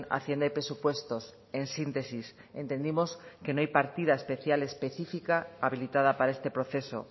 hacienda y presupuestos en síntesis entendimos que no hay partida especial específica habilitada para este proceso